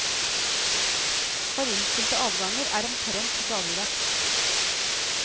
For innstilte avganger er omtrent dagligdags.